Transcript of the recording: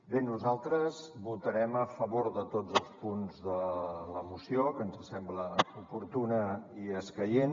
bé nosaltres votarem a favor de tots els punts de la moció que ens sembla oportuna i escaient